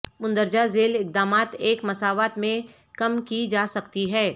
مندرجہ ذیل اقدامات ایک مساوات میں کم کی جا سکتی ہے